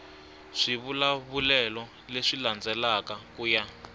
swivulavulelo leswi landzelaka ku ya